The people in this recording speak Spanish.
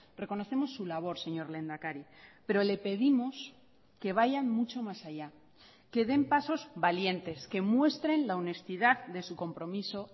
reconocemos su labor señor lehendakari pero le pedimos que vayan mucho más allá que den pasos valientes que muestren la honestidad de su compromiso